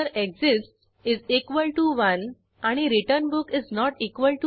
spoken tutorial project team spoken tutorial च्या सहाय्याने कार्यशाळा चालविते